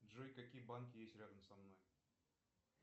джой какие банки есть рядом со мной